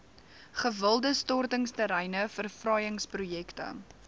gewilde stortingsterreine verfraaiingsprojekte